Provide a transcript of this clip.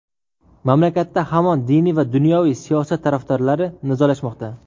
Mamlakatda hamon diniy va dunyoviy siyosat tarafdorlari nizolashmoqda.